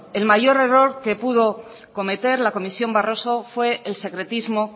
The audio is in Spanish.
el mayor error que pudo cometer la comisión barroso fue el secretismo